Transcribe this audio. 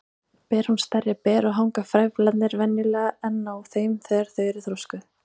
Ber hún stærri ber og hanga frævlarnir venjulega enn á þeim þegar þau eru þroskuð.